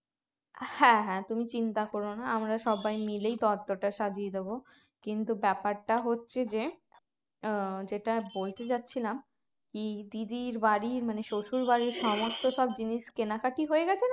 হ্যাঁ হ্যাঁ তুমি চিন্তা কর না আমরা সবাই মিলেই তত্ত্বটা সাজিয়ে দেবো কিন্তু ব্যাপারটা হচ্ছে যে আহ যেটা বলতে যাচ্ছিলাম কি দিদির বাড়ি মানে শ্বশুর বাড়ির সমস্ত সব জিনিস কেনাকাটি হয়ে গেছে